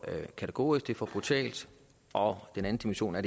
kategorisk det er for brutalt og den anden dimension er